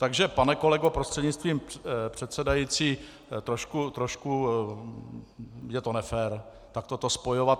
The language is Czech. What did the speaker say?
Takže pane kolego prostřednictvím předsedající, trošku je to nefér takto to spojovat.